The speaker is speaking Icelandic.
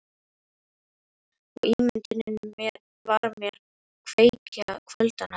Og ímyndunin var mér kveikja kvöldanna.